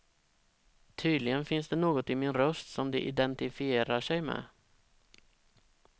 Tydligen finns det något i min röst som de identiferar sig med.